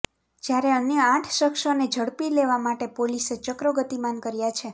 જ્યારે અન્ય આઠ શખસોને ઝડપી લેવા માટે પોલીસે ચક્રો ગતિમાન કર્યાં છે